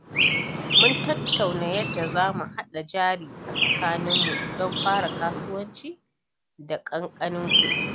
Mun tattauna yadda zamu haɗa jari a tsakaninmu don fara kasuwanci da ƙanƙanin kuɗi.